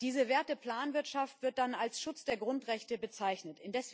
Diese Werte Planwirtschaft wird dann als Schutz der Grundrechte bezeichnet.